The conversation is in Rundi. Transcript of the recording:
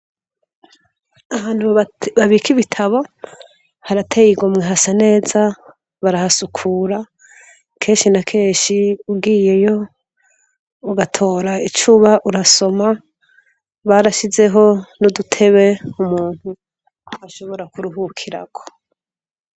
Ahantu babika ibitabo harateye igomwe hasa neza barahasukura kenshi na kenshi ugiyeyo uba uratora ico usoma barashizeho nudutebe umuntu ashobora kuruhukiraho